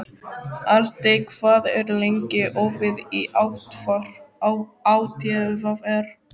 Aldey, hvað er lengi opið í ÁTVR?